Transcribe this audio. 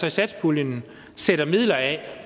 i satspuljen sætter midler af